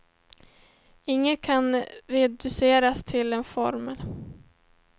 Inget kan reduceras till en formel.